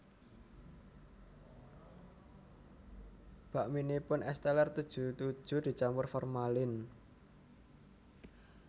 Bakminipun Es Teller tujuh tujuh dicampur formalin